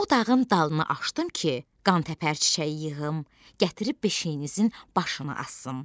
o dağın dalına aşdım ki, qantəpər çiçəyi yığım, gətirib beşikinizin başına asım.